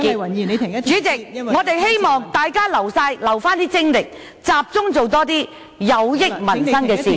代理主席，我們希望大家保留精力，集中多做些有益民生的事......